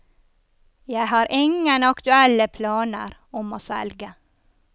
Jeg har ingen aktuelle planer om å selge.